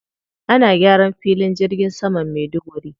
Ana gyaran filin jirgin saman Maiduguri.